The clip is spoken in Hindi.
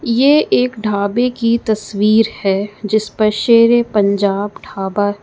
ये एक ढाबे की तस्वीर है जिसपर शेर ए पंजाब ढाबा--